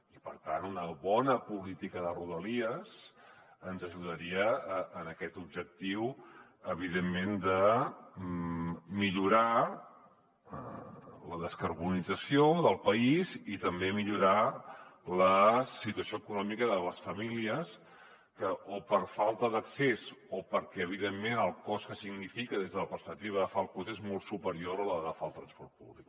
i per tant una bona política de rodalies ens ajudaria en aquest objectiu evidentment de millorar la descarbonització del país i també a millorar la situació econòmica de les famílies que o per falta d’accés o perquè evidentment el cost que significa des de la perspectiva d’agafar el cotxe és molt superior a la d’agafar el transport públic